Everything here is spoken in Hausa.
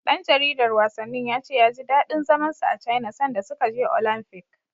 Ɗan jaridar wasannin ya ce ya ji daɗin zaman sa a Caina sanda suka je Olamfik.